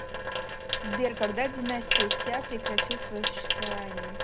сбер когда династия ся прекратил свое существование